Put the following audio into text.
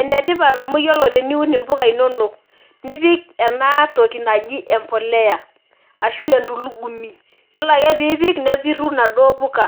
Enetipat amu ore teniun mpuka inonok nipik enatoki naji empolea ashu entulugumi nelo ake nipik nepuku naduo puka